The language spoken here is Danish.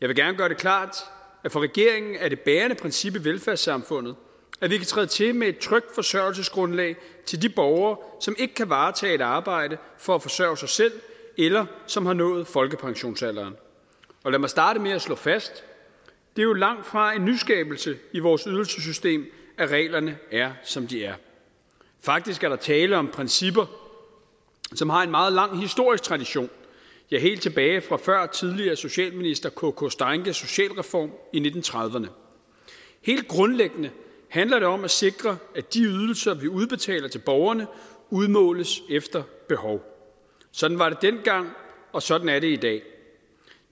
vil gerne gøre det klart at for regeringen er det bærende princip i velfærdssamfundet at vi kan træde til med et trygt forsørgelsesgrundlag til de borgere som ikke kan varetage et arbejde for at forsørge sig selv eller som har nået folkepensionsalderen og lad mig starte med at slå fast at det jo langtfra er en nyskabelse i vores ydelsessystem at reglerne er som de er faktisk er der tale om principper som har en meget lang historisk tradition ja helt tilbage fra før tidligere socialminister k k steinckes socialreform i nitten trediverne helt grundlæggende handler det om at sikre at de ydelser vi udbetaler til borgerne udmåles efter behov sådan var det dengang og sådan er det i dag